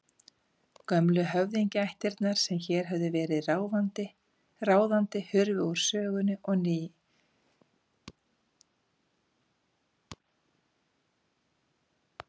Gömlu höfðingjaættirnar sem hér höfðu verið ráðandi hurfu úr sögunni og nýjar hösluðu sér völl.